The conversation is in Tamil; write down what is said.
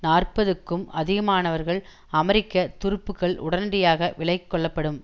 நாற்பதுக்கும் அதிகமானவர்கள் அமெரிக்க துருப்புக்கள் உடனடியாக விலக்கொள்ளப்படும்